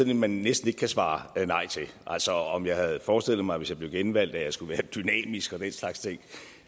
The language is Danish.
et man næsten ikke kan svare nej til altså om jeg havde forestillet mig at hvis jeg blev genvalgt at jeg skulle være dynamisk og den slags ting